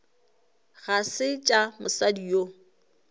ga se tša mosadi yo